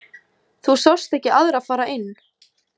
Þú sást ekki aðra fara inn?